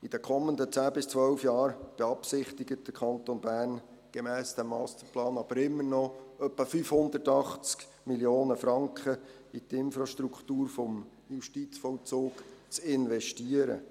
In den kommenden zehn bis zwölf Jahren beabsichtigt der Kanton Bern gemäss diesem Masterplan aber immer noch etwa 580 Mio. Franken in die Infrastruktur des Justizvollzugs zu investieren.